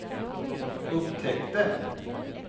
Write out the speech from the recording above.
upptäckte